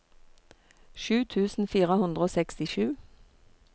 sju tusen fire hundre og sekstisju